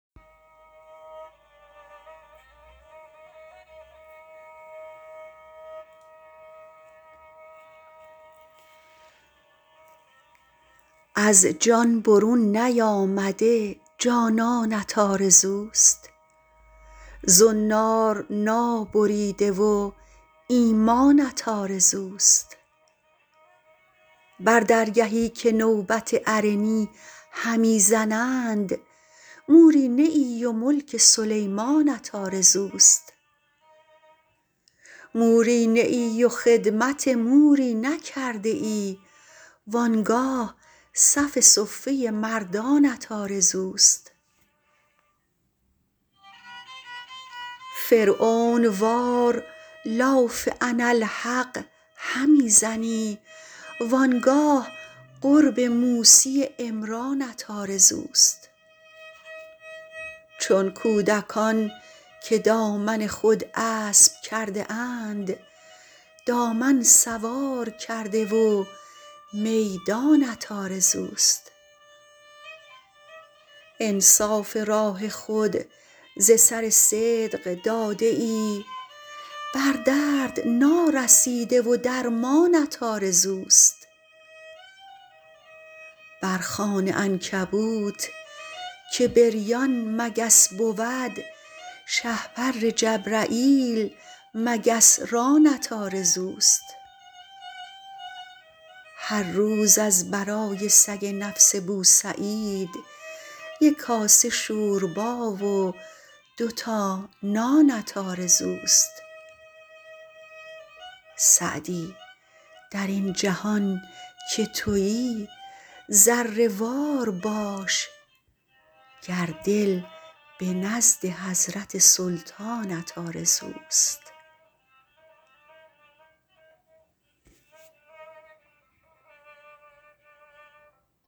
از جان برون نیامده جانانت آرزوست زنار نابریده و ایمانت آرزوست بر درگهی که نوبت ارنی همی زنند موری نه ای و ملک سلیمانت آرزوست موری نه ای و خدمت موری نکرده ای وآنگاه صف صفه مردانت آرزوست فرعون وار لاف اناالحق همی زنی وآنگاه قرب موسی عمرانت آرزوست چون کودکان که دامن خود اسب کرده اند دامن سوار کرده و میدانت آرزوست انصاف راه خود ز سر صدق داده ای بر درد نارسیده و درمانت آرزوست بر خوان عنکبوت که بریان مگس بود شهپر جبرییل مگس رانت آرزوست هر روز از برای سگ نفس بوسعید یک کاسه شوربا و دو تا نانت آرزوست سعدی در این جهان که تویی ذره وار باش گر دل به نزد حضرت سلطانت آرزوست